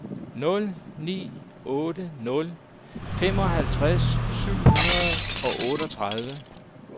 nul ni otte nul femoghalvtreds syv hundrede og otteogtredive